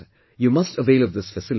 You must avail this facility